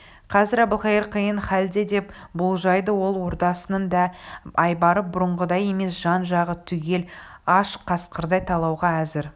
қазір әбілқайыр қиын халде деп болжайды ол ордасының да айбары бұрынғыдай емес жан-жағы түгел аш қасқырдай талауға әзір